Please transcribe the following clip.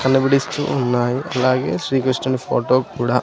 కనబడిస్తూ ఉన్నాయి అలాగే శ్రీకృష్ణుని ఫోటో కూడా.